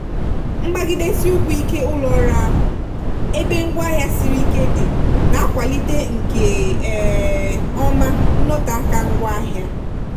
mgbagidesi ụkwụ ike ụlọ orụ ahụ ebe ngwa ọrụ siri ike dị na-akwalite nke um ọma nnọteaka ngwaahịa.